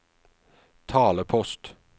talepost